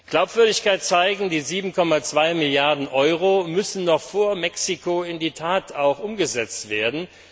Glaubwürdigkeit zeigen Die 7,2 Milliarden Euro müssen noch vor Mexiko in die Tat umgesetzt werden.